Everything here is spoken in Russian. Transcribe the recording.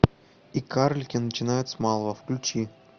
и карлики начинают с малого включи